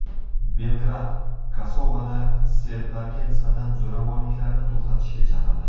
Belgrad Kosovoda serblarga nisbatan zo‘ravonliklarni to‘xtatishga chaqirdi.